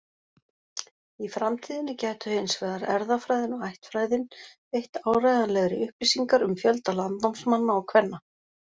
Í framtíðinni gætu hins vegar erfðafræðin og ættfræðin veitt áreiðanlegri upplýsingar um fjölda landnámsmanna og-kvenna.